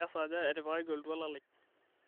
kesaaja etipikaki oltuala lai